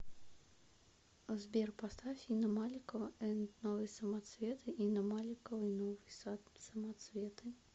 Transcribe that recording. сбер поставь инна маликова энд новые самоцветы инна маликова и новые самоцветы